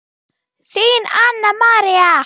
Þín, Anna María.